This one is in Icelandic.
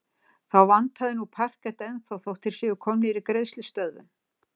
Þá vantar nú parkett ennþá þótt þeir séu komnir í greiðslustöðvun.